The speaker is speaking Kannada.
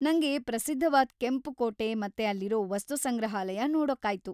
ನಂಗೆ ಪ್ರಸಿದ್ಧವಾದ್ ಕೆಂಪು ಕೋಟೆ ಮತ್ತೆ ಅಲ್ಲಿರೋ ವಸ್ತು ಸಂಗ್ರಹಾಲಯ ನೋಡೋಕ್ಕಾಯ್ತು.